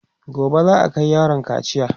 gobe za'a Kai yaron kaciya